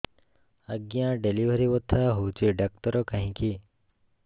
ଆଜ୍ଞା ଡେଲିଭରି ବଥା ହଉଚି ଡାକ୍ତର କାହିଁ କି